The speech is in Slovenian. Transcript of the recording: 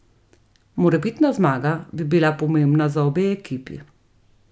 Morebitna zmaga bi bila pomembna za obe ekipi.